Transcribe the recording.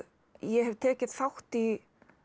ég hef tekið þátt í